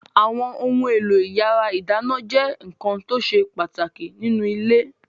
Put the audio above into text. Àwọn ohun-èlò ìyàrá-ìdáná jẹ́ nǹkan tó ṣe pàtàkì nínú ilé.